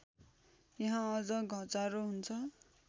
यहाँ अझ घचारो हुन्छ